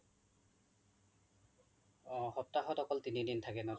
অ সপ্তাহত অকল তিনি দিন থাকে ন